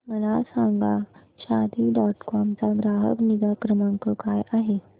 मला सांगा Shaadi dot com चा ग्राहक निगा क्रमांक काय आहे